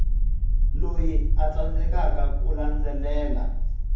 loyi a tsandzekaka ku landzelela